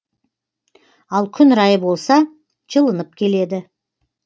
ал күн райы болса жылынып келеді